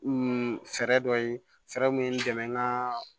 fɛɛrɛ dɔ ye fɛɛrɛ mun ye n dɛmɛ nka